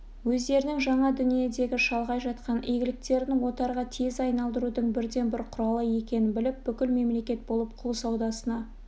өздерінің жаңа дүниедегі шалғай жатқан иеліктерін отарға тез айналдырудың бірден-бір құралы екенін біліп бүкіл мемлекет болып құл саудасына